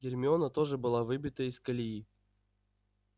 гермиона тоже была выбита из колеи